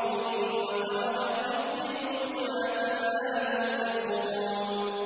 اللَّهُ بِنُورِهِمْ وَتَرَكَهُمْ فِي ظُلُمَاتٍ لَّا يُبْصِرُونَ